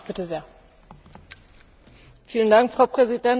Frau Präsidentin, liebe Kolleginnen und Kollegen!